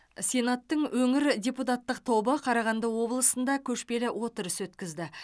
сенаттың өңір депутаттық тобы қарағанды облысында көшпелі отырыс өткізді